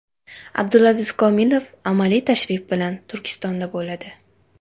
Abdulaziz Komilov amaliy tashrif bilan Turkmanistonda bo‘ladi.